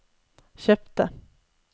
kjøpte